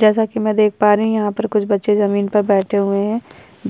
जैसा की मै देख पा रही हूं यहाँ पर कुछ बच्चे जमीन पर बैठे हुए है